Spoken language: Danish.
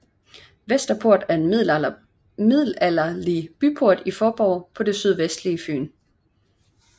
Vesterport er en middelalderlig byport i Faaborg på det sydvestlige Fyn